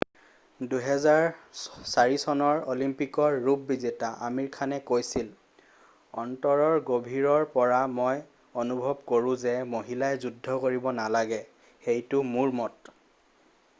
2004 চনৰ অলিম্পিকৰ ৰূপ বিজেতা আমিৰ খানে কৈছিল অন্তৰৰ গভীৰৰ পৰা মই অনুভৱ কৰোঁ যে মহিলাই যুদ্ধ কৰিব নালাগে সেইটো মোৰ মত